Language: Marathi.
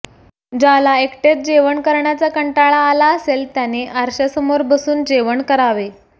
ज्याला एकटेच जेवण करण्याचा कंटाळा आला असेल त्याने आरशासमोर बसून जेवण करावे